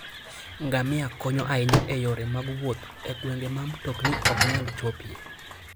Ngamia konyo ahinya e yore mag wuoth e gwenge ma mtokni ok nyal chopie.